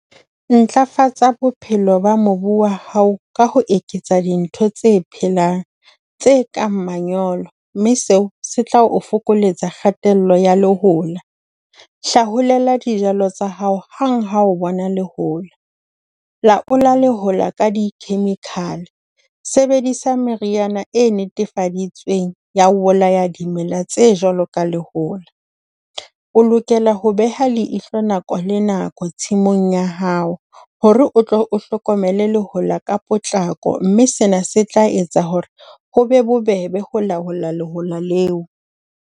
Ntlafatsa bophelo ba mobu wa hao ka ho eketsa dintho tse phelang, tse kang manyolo, mme seo se tla o fokoletsa kgatello ya lehola. Hlaholela dijalo tsa hao hang ha o bona lehola. Laola lehola ka di-chemical, sebedisa meriana e netefaditsweng ya ho bolaya dimela tse jwalo ka lehola. O lokela ho beha leihlo nako le nako tshimong ya hao ho re o tlo o hlokomele lehola ka potlako, mme sena se tla etsa ho re ho be bobebe ho laola lehola leo.